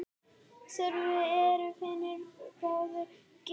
Þörf er fyrir báðar gerðir.